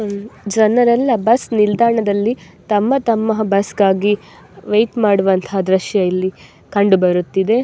ಜನರೆಲ್ಲಾ ಬಸ್ ನಿಲ್ದಾಣದಲ್ಲಿ ತಮ್ಮ ತಮ್ಮ ಬಸ್ ಗಾಗಿ ವೇಯ್ಟ್ ಮಾಡುವಂತ ದೃಶ್ಯ ಇಲ್ಲಿ ಕಂಡುಬರುತಿದೆ.